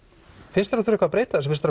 finnst þér þurfa að breyta þessu finnst